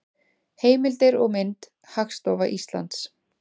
Heimildir og mynd: Hagstofa Íslands.